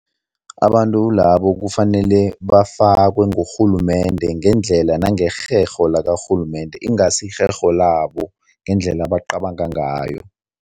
Abantu labo kufanele bafakwe ngurhulumende ngendlela nangerherho lakarhulumende, ingasi irherho labo, ngendlela abacabanga ngayo.